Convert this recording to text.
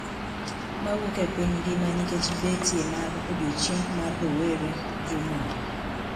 Mawuok e piny ngima nikech betie mar "odiechieng` mar rowere" juma ni,